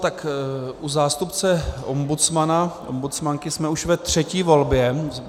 Tak u zástupce ombudsmana, ombudsmanky jsme už ve třetí volbě.